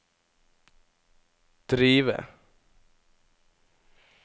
drive